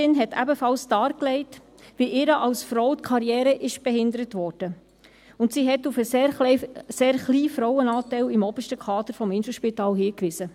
Die Ärztin legte ebenfalls dar, wie ihr als Frau die Karriere behindert wurde, und sie wies auf den sehr kleinen Frauenanteil im obersten Kader des Inselspitals hin.